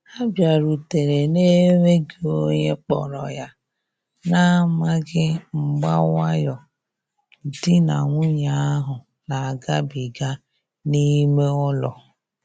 Ha biarutere na-enweghi onye kporo ya, na amaghi mgba nwayo di na nwunye ahu na agabiga n'ime ụlọ.